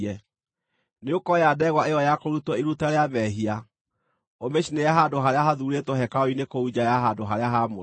Nĩũkooya ndegwa ĩyo ya kũrutwo iruta rĩa mehia, ũmĩcinĩre handũ harĩa hathuurĩtwo hekarũ-inĩ kũu nja ya handũ-harĩa-haamũre.